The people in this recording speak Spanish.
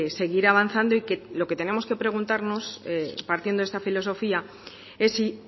seguir avanzando y que lo que tenemos que preguntarnos partiendo de esta filosofía es si